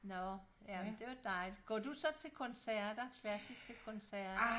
Nå jamen det var dejligt går du så til koncerter klassiske koncerter?